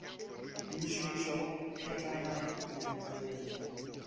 le šomišwago go pšhatlaganya mabele